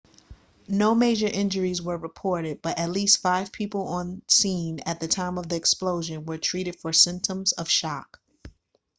no major injuries were reported but at least five people on scene at the time of the explosion were treated for symptoms of shock